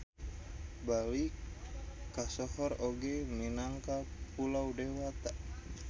Bali kasohor oge minangka Pulo Dewata.